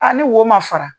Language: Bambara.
A ni wo ma fara